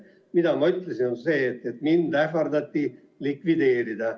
Mida ma ütlesin, on see, et mind ähvardati likvideerida.